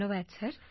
ধন্যবাদ স্যার